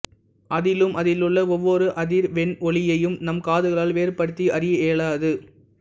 அதிலும் அதிலுள்ள ஒவ்வொரு அதிர்வெண் ஒலியையும் நம் காதுகளால் வேறுபடுத்தி அறிய இயலாது